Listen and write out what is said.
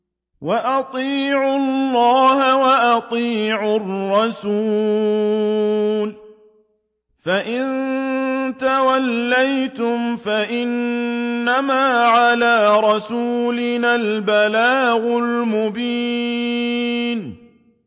وَأَطِيعُوا اللَّهَ وَأَطِيعُوا الرَّسُولَ ۚ فَإِن تَوَلَّيْتُمْ فَإِنَّمَا عَلَىٰ رَسُولِنَا الْبَلَاغُ الْمُبِينُ